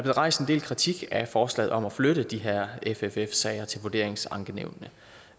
rejst en del kritik af forslaget om at flytte de her fff sager til vurderingsankenævnene